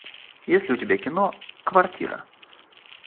есть ли у тебя кино квартира